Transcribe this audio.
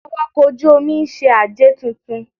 Awakọ̀ ojú-omi ń ṣe àjẹ̀ tuntun